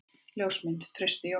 Ljósmynd: Trausti Jónsson.